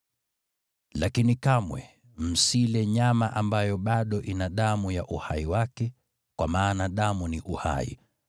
“Lakini kamwe msile nyama ambayo bado ina damu ya uhai wake, kwa maana damu ni uhai.